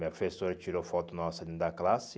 Minha fessora tirou foto nossa dentro da classe.